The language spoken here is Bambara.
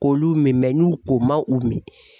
K'olu min mɛ n'u o man u min